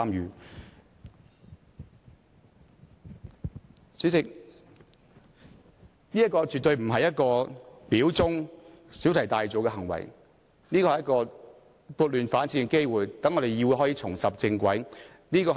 代理主席，這個絕對不是表忠或小題大做的行為，這是撥亂反正的機會，讓議會重拾正軌。